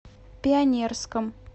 пионерском